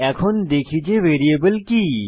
এখন দেখি যে ভ্যারিয়েবল কি